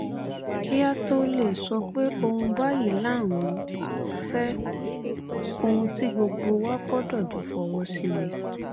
kí á tóó lè sọ pé ohun báyìí là ń fẹ ohun tí gbogbo wa gbọdọ jọ fọwọ sí ni